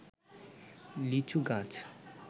লিচু গাছ